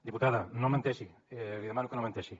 diputada no menteixi li demano que no menteixi